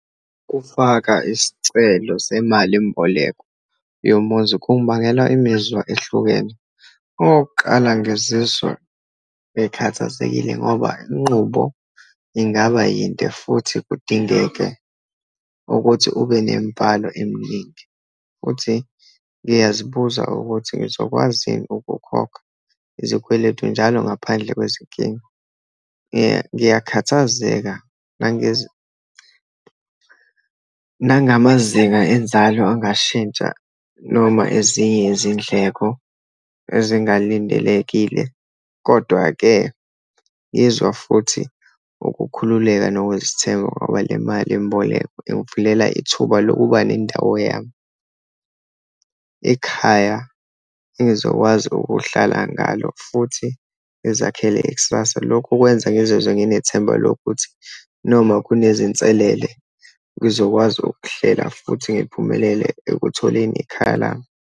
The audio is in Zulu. Ukufaka isicelo semalimboleko yomuzi, kungibekela imizwa ehlukene. Okokuqala, ngizizwa bekhathazekile ngoba inqubo ingaba yinde, futhi kudingeke ukuthi ube nemibhalo eminingi. Futhi ngiyazibuza ukuthi ngizokwazi yini ukukhokha izikweletu njalo ngaphandle kwezinkinga. Ngiyakhathazeka nangamazinga enzalo angashintsha, noma ezinye izindleko ezingalindelekile. Kodwa-ke ngizwa futhi ukukhululeka nokuzithemba ngoba le malimboleko ingivulela ithuba lokuba nendawo yami, ikhaya engizokwazi ukuhlala ngalo, futhi ngizakhele ikusasa. Lokhu kwenza ngizizwe nginethemba lokuthi noma kunezinselele ngizokwazi ukuhlela futhi ngiphumelele ekutholeni ekhaya lami.